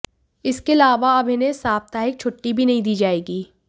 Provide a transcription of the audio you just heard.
इसके अलावा अब इन्हें साप्ताहिक छुट्टी भी नहीं दी जाएगी